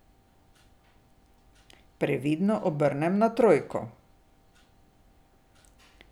Previdno obrnem na trojko.